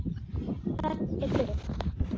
Þar er fjörið.